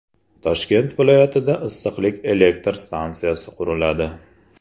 Toshkent viloyatida issiqlik elektr stansiyasi quriladi.